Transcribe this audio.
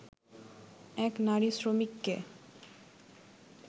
এক নারী শ্রমিককে